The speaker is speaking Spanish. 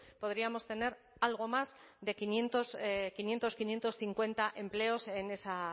podríamos tener algo más de quinientos quinientos quinientos cincuenta empleos en esa